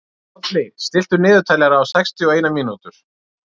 Bolli, stilltu niðurteljara á sextíu og eina mínútur.